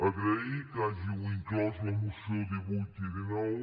agrair que hàgiu inclòs a la moció divuit i dinou